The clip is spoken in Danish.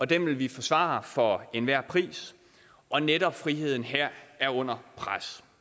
den vil vi forsvare for enhver pris og netop friheden her er under pres